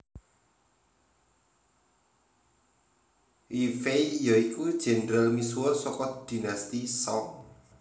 Yue Fei ya iku jendral misuwur saka Dinasti Song